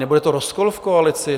Nebude to rozkol v koalici?